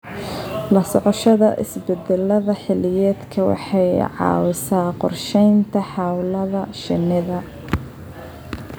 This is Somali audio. La socoshada isbeddellada xilliyeedka waxay caawisaa qorshaynta hawlaha shinnida.